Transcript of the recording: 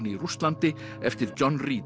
í Rússlandi eftir John